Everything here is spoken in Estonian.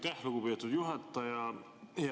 Aitäh, lugupeetud juhataja!